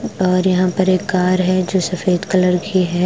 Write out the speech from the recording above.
और यहां पर एक कार है जो सफेद कलर की है।